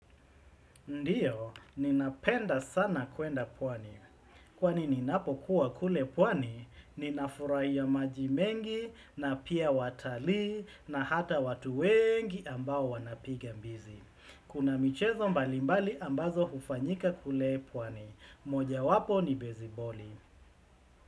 Ndio, ninapenda sana kuenda pwani. Kwani ninapo kuwa kule pwani, ninafurahia majimengi na pia watalii na hata watu wengi ambao wanapigambizi. Kuna michezo mbalimbali ambazo hufanyika kule pwani. Moja wapo ni beziboli.